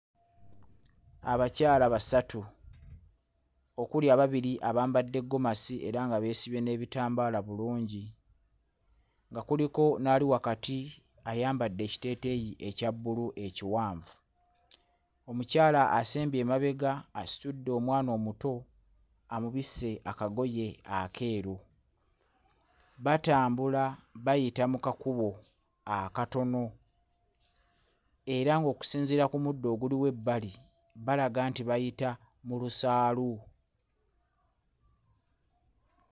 Abakyala basatu okuli ababiri abambadde ggomasi era nga beesibye n'ebitambaala bulungi nga kuliko n'ali wakati ayambadde ekiteeteeyi ekya bbulu ekiwanvu. Omukyala asembye emabega asitudde omwana omuto amabisse akagoye akeeru, batambula bayita mu kakubo akatono era ng'okusinziira ku muddo oguliwo ebbali balaga nti bayita mu lusaalu.